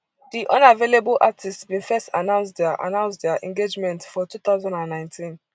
di unavailable artiste bin first announce dia announce dia engagement for two thousand and nineteen